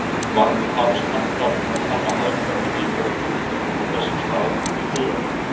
Var nú hafist handa um að kanna hagkvæmni hitaveitu frá þessum stað til byggðarinnar.